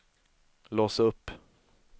lås upp